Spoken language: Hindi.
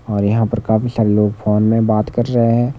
और यहां पर काफी सारे लोग फोन में बात कर रहे हैं।